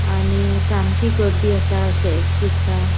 आणि सामकी गर्दी आसा. शेक्स दिसता.